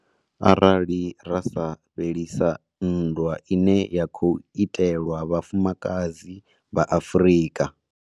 Arali ra sa fhelisa nndwa ine ya khou itelwa vhafumakadzi vha Afrika.